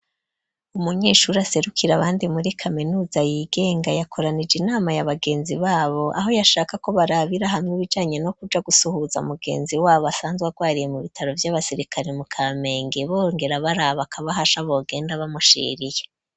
Umunyeshuri aserukira abandi muri kaminuza yigenga yakoranije inama y'abagenzi babo aho yashaka ko barabira hamwe ibijanye no kuja gusuhuza mugenzi wabo asanzwe agwariye mu bitaro by'abasirikare mu kamenge bongera baraba akabahasha bogenda bamushiriye.